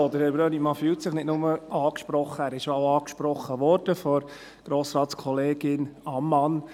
Herr Brönnimann fühlt sich nicht nur angesprochen, er wurde auch angesprochen, nämlich von Grossratskollegin Ammann.